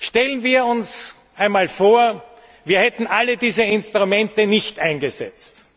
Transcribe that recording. Stellen wir uns einmal vor, wir hätten alle diese Instrumente nicht eingesetzt.